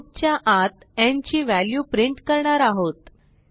loop च्या आत n ची व्हॅल्यू प्रिंट करणार आहोत